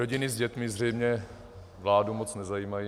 Rodiny s dětmi zřejmě vládu moc nezajímají.